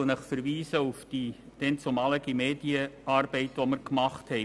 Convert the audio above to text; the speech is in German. Ich verweise auf die Medienarbeit, die wir damals gemacht haben.